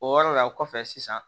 O yɔrɔ la kɔfɛ sisan